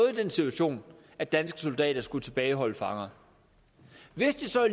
i den situation at danske soldater skulle tilbageholde fanger hvis det så